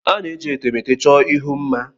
A na-eji etemeete chọọ ihu mma.